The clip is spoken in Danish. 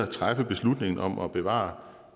træffe beslutningen om at bevare